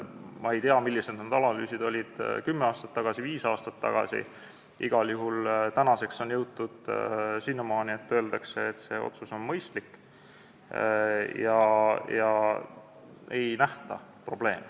Ma ei tea, millised olid analüüsid kümme või viis aastat tagasi, igal juhul on tänaseks jõutud sinnamaani, et öeldakse, et see otsus on mõistlik, ega nähta probleemi.